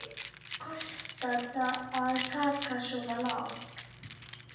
En hvað kostar að taka svona lán?